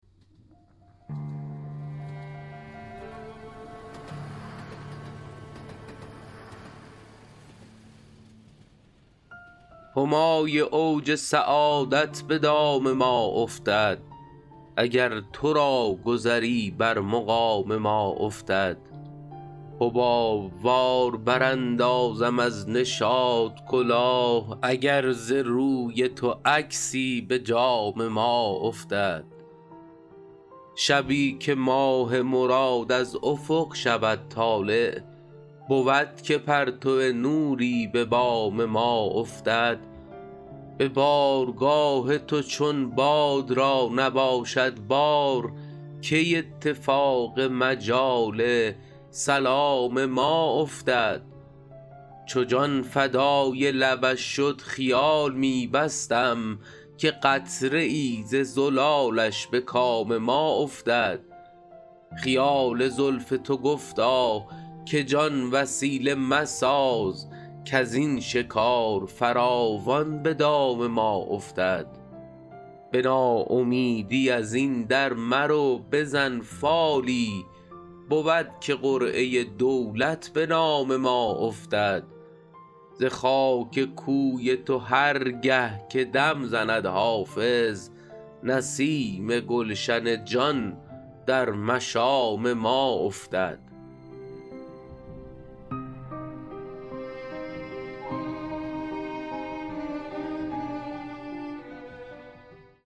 همای اوج سعادت به دام ما افتد اگر تو را گذری بر مقام ما افتد حباب وار براندازم از نشاط کلاه اگر ز روی تو عکسی به جام ما افتد شبی که ماه مراد از افق شود طالع بود که پرتو نوری به بام ما افتد به بارگاه تو چون باد را نباشد بار کی اتفاق مجال سلام ما افتد چو جان فدای لبش شد خیال می بستم که قطره ای ز زلالش به کام ما افتد خیال زلف تو گفتا که جان وسیله مساز کز این شکار فراوان به دام ما افتد به ناامیدی از این در مرو بزن فالی بود که قرعه دولت به نام ما افتد ز خاک کوی تو هر گه که دم زند حافظ نسیم گلشن جان در مشام ما افتد